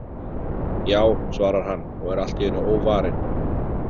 Já, svarar hann og er allt í einu óvarinn.